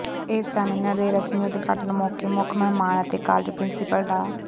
ਇਸ ਸੈਮੀਨਾਰ ਦੇ ਰਸਮੀ ਉਦਘਾਟਨ ਮੌਕੇ ਮੁੱਖ ਮਹਿਮਾਨ ਅਤੇ ਕਾਲਜ ਪ੍ਰਿੰਸੀਪਲ ਡਾ